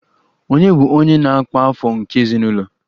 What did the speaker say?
Ònye bụ onye na-akpa afọ nke ezinụlọ?